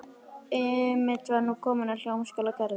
Emil var nú kominn að Hljómskálagarðinum.